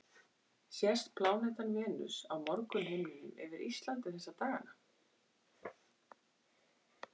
Sést plánetan Venus á morgunhimninum yfir Íslandi þessa dagana?